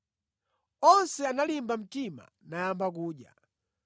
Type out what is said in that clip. Onse analimba mtima nayamba kudyanso.